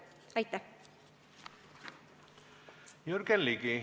Aitäh!